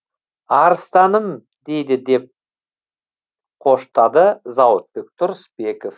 арыстаным дейді деп қоштады зауытбек тұрысбеков